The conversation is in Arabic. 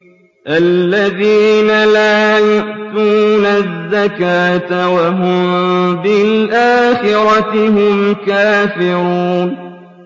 الَّذِينَ لَا يُؤْتُونَ الزَّكَاةَ وَهُم بِالْآخِرَةِ هُمْ كَافِرُونَ